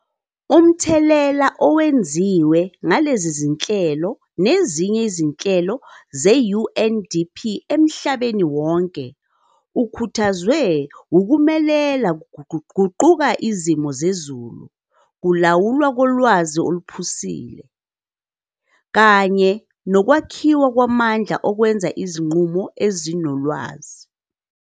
Umthelela owenziwe ngalezi zinhlelo nezinye izinhlelo ze-UNDP emhlabeni wonke, ukhuthazwe wukumela kuguquguquka kwesimo sezulu, kulawulwa kolwazi oluphusile, kanye nokwakhiwa kwamandla okwenza izinqumo ezinolwazi.